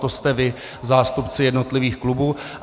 To jste vy, zástupci jednotlivých klubů.